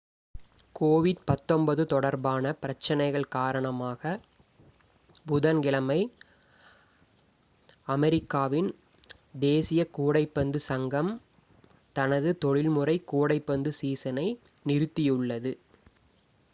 covid-19 தொடர்பான பிரச்சனைகள் காரணமாகப் புதன்கிழமை அமெரிக்காவின் தேசிய கூடைப்பந்து சங்கம் nba தனது தொழில்முறை கூடைப்பந்து சீசனை நிறுத்தியுள்ளது